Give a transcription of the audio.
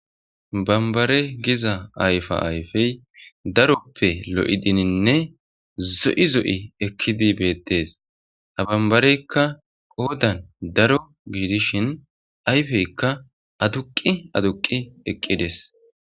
bambare giza ayfa ayfey daroppe lo7i dininne zo7i zo7i ekkidi beettees abambareykka qoodan daro giidishin ayfeykka aduqi aduqi eqqides